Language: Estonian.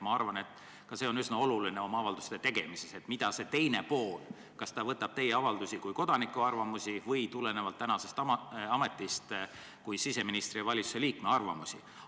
Ma arvan, et ka see on avalduste tegemise puhul üsna oluline, kas see teine pool võtab teie avaldusi kui kodaniku arvamusi või tulenevalt teie ametist kui siseministri ja valitsuse liikme arvamusi.